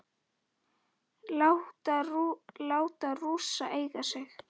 Láta Rússa eiga sig?